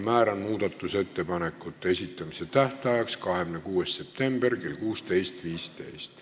Määran muudatusettepanekute esitamise tähtajaks 26. septembri kell 16.15.